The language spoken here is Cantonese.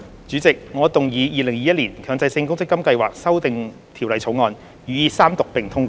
主席，我動議《2021年強制性公積金計劃條例草案》予以三讀並通過。